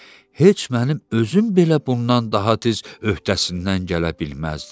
Heç mənim özüm belə bundan daha tez öhdəsindən gələ bilməzdim.